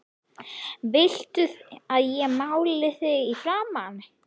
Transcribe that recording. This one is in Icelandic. VILTU AÐ ÉG MÁLI ÞIG Í FRAMAN?